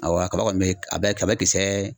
Awɔ a kaba kɔni bɛ a bɛ a bɛ kisɛ